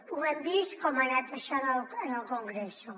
ho hem vist com ha anat això en el congreso